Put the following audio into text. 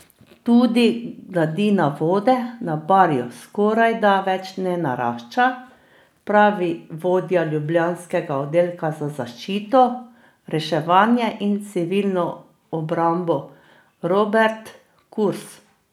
Tudi gladina vode na barju skorajda več ne narašča, pravi vodja ljubljanskega oddelka za zaščito, reševanje in civilno obrambo Robert Kus.